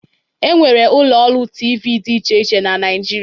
E nwere ụlọ ọrụ TV dị iche iche na Naịjirịa.